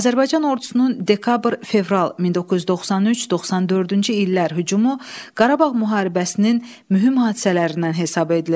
Azərbaycan ordusunun dekabr-fevral 1993-94-cü illər hücumu Qarabağ müharibəsinin mühüm hadisələrindən hesab edilir.